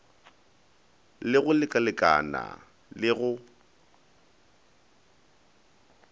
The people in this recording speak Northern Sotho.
le go lekalekana le go